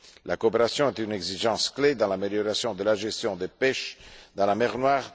La coopération est une exigence clé dans l'amélioration de la gestion de la pêche dans la mer Noire.